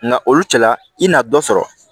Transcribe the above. Nka olu cɛla i na dɔ sɔrɔ